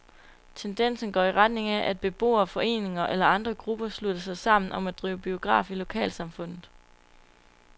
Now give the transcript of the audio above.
Tendensen går i retning af, at beboere, foreninger eller andre grupper slutter sig sammen om at drive biograf i lokalsamfundet.